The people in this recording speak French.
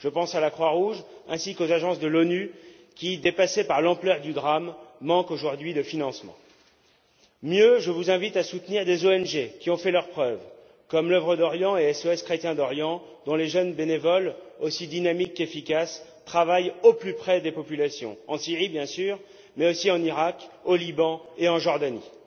Je pense à la Croix Rouge ainsi qu'aux agences de l'ONU qui, dépassées par l'ampleur du drame, manquent aujourd'hui de financements. Je vous invite aussi à soutenir des ONG qui ont fait leurs preuves comme l'Œuvre d'Orient et SOS chrétiens d'Orient, dont les jeunes bénévoles, aussi dynamiques qu'efficaces, travaillent au plus près des populations en Syrie, bien sûr, mais aussi en Iraq, au Liban et en Jordanie.